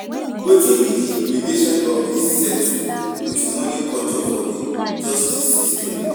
Wetin be di implication of di settle with money culture for di justice system?